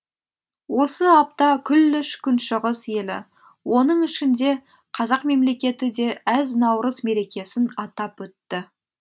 осы апта күллі күншығыс елі оның ішінде қазақ мемлекеті де әз наурыз мерекесін атап өтті